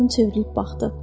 Qadın çevrilib baxdı.